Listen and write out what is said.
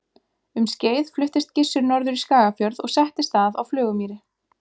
um skeið fluttist gissur norður í skagafjörð og settist að á flugumýri